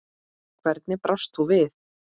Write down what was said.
Hvernig brást þú við?